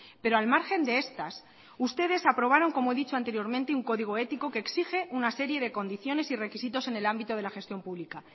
pero al margen de estas ustedes aprobaron como he dicho anteriormente un código ético que exige una serie de condiciones y requisitos en el ámbito de la gestión pública